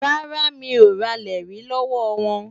Rárá, mi ò ralẹ̀ rí lọ́wọ́ wọn.